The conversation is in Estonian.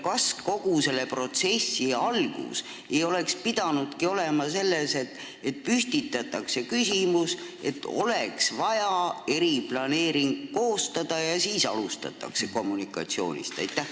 Kas kogu selle protsessi algus ei oleks pidanudki olema see, et püstitatakse küsimus, et oleks vaja eriplaneering koostada, ja siis alustatakse kommunikatsioonist?